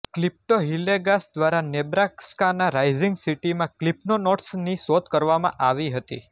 ક્લિફ્ટો Hillegass દ્વારા નેબ્રાસ્કાના Rising સિટીમાં ક્લિફ્ફનોટ્સની શોધ કરવામાં આવી હતી